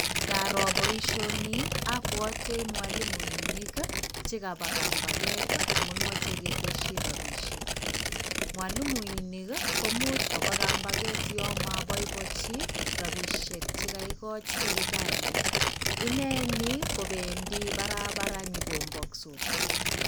Ngaroo boishonii abwatei mwalimuinik chekobo kambaget amun machei keteshi robishek. Mwalimuinik komuch koba kambaget yamabboiboiji robinik che kaigoj. Serikali ineeni kobendi barabara nyokombaksot.